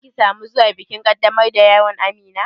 Za ki sa mu zuwa bikin ƙaddamar da yaron Amina?